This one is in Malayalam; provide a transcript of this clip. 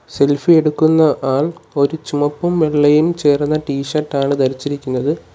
സെൽഫി എടുക്കുന്ന ആൾ ഒര് ചുമപ്പും വെള്ളയും ചേർന്ന ടി ഷർട്ടാണ് ധരിച്ചിരിക്കുന്നത്.